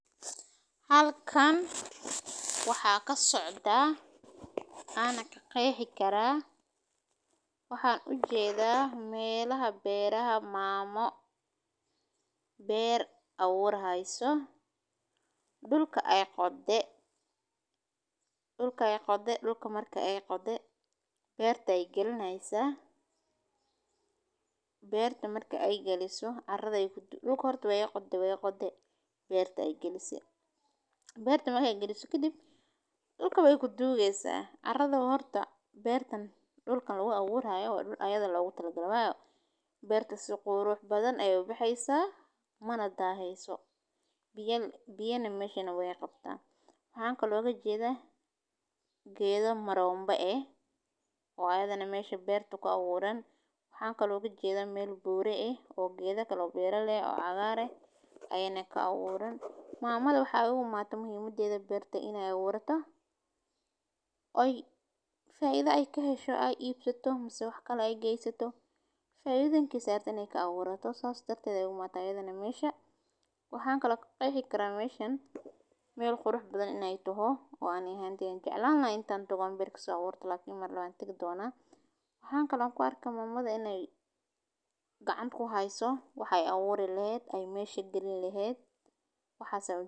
Halkaan waxaa ka socda, ana ka qeexi karaa. Waxaan u jeedaa meelaha beeraha maamo, beer awood haayso. Dhulka ay qodde. Dhulka ay qodde, dhulka markay ay qodde. Beerta ay gelinaysa. Beertu markay ay geliso arrada ay ku-- dhulka horta way qodde way qodde beerta ay geliso. Beertu markay geliso. Kidib, dhulka way ku duugeysaa. Arrada horta beer tan, dhulkan looga awood haayo, ayada loogu talgal lahaayo. Beerta si quruux badan ayuu yimayso mana taayeyso. Biyane, biyane meesha way qabta. Fahaanka looga jeedaa geedo maroonba ee oo awooda nameeshi beerta ka awoodan. Fahaanka laguga jeeda meel buuro ah ee oo geedakale oo beeralle ee cagaar ah ayane ka awoodan. Maamadu waxa ugu maata muhiimadii da beerta in ay awoodato. Oy! Faaiida ay ka hesho, ay iibsatoo masix wax kale ay gaysato. Fayidankii saartan ay ka awoodato saacadii darted ugu maata iyagga nameesha. Waxaan kala qeexi kara meesha meel qurux badan in ay tuho oo aan ahaan tiin jecelan la intaan dogon, berkisa agur talo iman la aqoona intag doona. Waxaan kala ku arki maamada in ay gacan ku hayso. Waxay awoodi laheen, ay meesha geli laheen. Waxaa sababi.